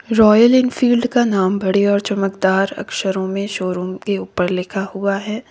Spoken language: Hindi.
रॉयल एनफील्ड का नाम बड़े और चमकदार अक्षरों में शोरुम के उपर लिखा हुआ है।